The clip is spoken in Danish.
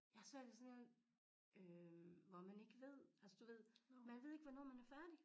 Jeg har svært ved sådan en øh hvor man ikke ved altså du ved man ved ikke hvornår man er færdig